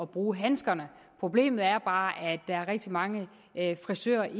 bruge handskerne problemet er bare at der er rigtig mange frisører